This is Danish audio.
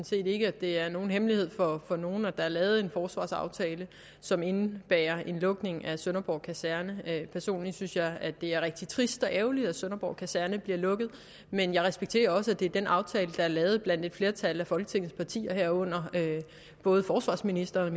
set ikke at det er nogen hemmelighed for nogen at der er lavet en forsvarsaftale som indebærer en lukning af sønderborg kaserne personligt synes jeg at det er rigtig trist og ærgerligt at sønderborg kaserne bliver lukket men jeg respekterer også at det er den aftale der er lavet blandt et flertal af folketingets partier herunder både forsvarsministerens